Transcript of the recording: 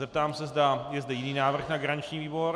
Zeptám se, zda je zde jiný návrh na garanční výbor.